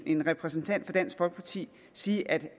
en repræsentant for dansk folkeparti sige at